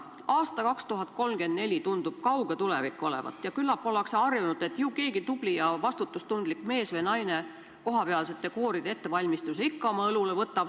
Aasta 2034 tundub kauge tulevik olevat ja küllap ollakse harjunud, et ju keegi tubli ja vastutustundlik mees või naine kohalike kooride ettevalmistuse ikka oma õlule võtab.